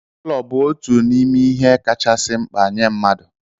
Ulo bụ otu n'ime ihe kachasị mkpa nye mmadụ